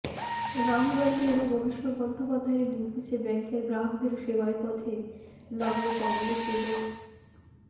রাহুল গাঁধী এবং অভিষেক বন্দ্যোপাধ্যায়ের নির্দেশে ব্যাঙ্কের গ্রাহকদের সেবায় পথে নামল কংগ্রেস এবং